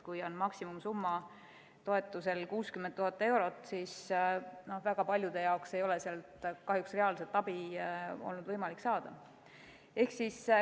Kui toetuse maksimumsumma on 60 000 eurot, siis väga paljude jaoks ei ole sealt kahjuks reaalset abi võimalik saada.